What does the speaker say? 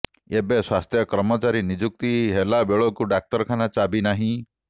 ଏବେ ସ୍ବାସ୍ଥ୍ୟ କର୍ମଚାରୀ ନିଯୁକ୍ତି ହେଲାବେଳକୁ ଡାକ୍ତରଖାନା ଚାବି ନାହିଁ